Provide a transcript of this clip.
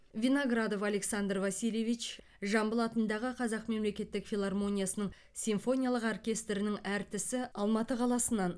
виноградов александр васильевич жамбыл атындағы қазақ мемлекеттік филармониясының симфониялық оркестрінің әртісі алматы қаласынан